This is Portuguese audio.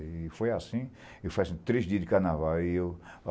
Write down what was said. E foi assim três dias de carnaval.